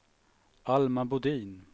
Alma Bodin